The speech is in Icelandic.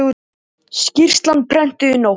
Skýrslan prentuð í nótt